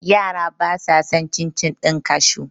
Yara ba sa san cin - cin ɗin kashu